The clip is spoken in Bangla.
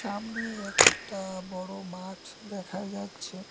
আমনে একটা বড় মাঠ দেখা যাচ্ছে।